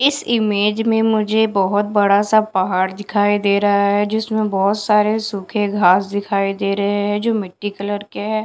इस ईमेज में मुझे बहुत बड़ा सा पहाड़ दिखाई दे रहा है जिसमें बहुत सारे सूखे घास दिखाई दे रहे हैं जो मिट्टी कलर के है।